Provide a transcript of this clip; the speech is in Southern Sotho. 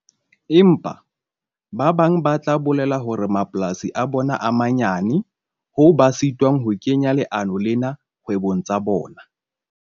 Empa, ba bang ba tla bolela hore mapolasi a bona a manyane hoo ba sitwang ho kenya leano lena kgwebong tsa bona.